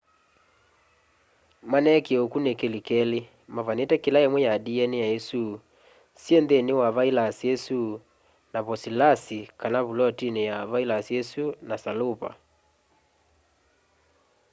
maneekie ukunikili keli mavanite kila imwe ya dna isu syi nthini wa vailasi isu na posipolasi kana vulotini ya vilasi isu na salupa